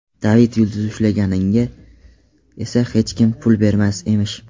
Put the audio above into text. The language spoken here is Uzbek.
David yulduzi ushlaganiga esa hech kim pul bermas emish.